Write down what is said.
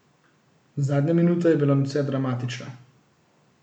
Zadnja minuta je bila nadvse dramatična.